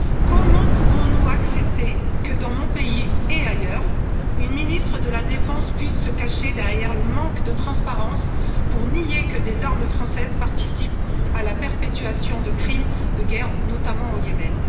Comment pouvons nous accepter que, dans mon pays et ailleurs, une ministre de la défense puisse se cacher derrière le manque de transparence pour nier que des armes françaises participent à la perpétuation de crimes de guerre, notamment au Yémen?